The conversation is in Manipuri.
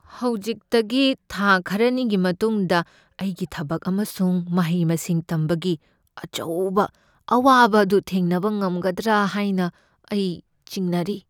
ꯍꯧꯖꯤꯛꯇꯒꯤ ꯊꯥ ꯈꯔꯅꯤꯒꯤ ꯃꯇꯨꯡꯗ ꯑꯩꯒꯤ ꯊꯕꯛ ꯑꯃꯁꯨꯡ ꯃꯍꯩ ꯃꯁꯤꯡ ꯇꯝꯕꯒꯤ ꯑꯆꯧꯕ ꯑꯋꯥꯕ ꯑꯗꯨ ꯊꯦꯡꯅꯕ ꯉꯝꯒꯗ꯭ꯔꯥ ꯍꯥꯏꯅ ꯑꯩ ꯆꯤꯡꯅꯔꯤ ꯫